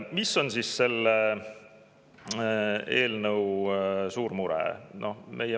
Mis on siis selle eelnõu puhul suur mure?